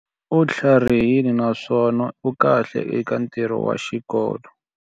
U tlharihile naswona u kahle eka ntirho wa xikolo.